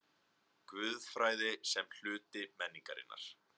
GUÐFRÆÐI SEM HLUTI MENNINGARINNAR